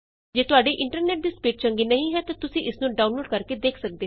ਜੇ ਤੁਹਾਡੇ ਇੰਟਰਨੈਟ ਦੀ ਸਪੀਡ ਚੰਗੀ ਨਹੀਂ ਹੈ ਤਾਂ ਤੁਸੀਂ ਇਸ ਨੂੰ ਡਾਊਨਲੋਡ ਕਰਕੇ ਦੇਖ ਸਕਦੇ ਹੋ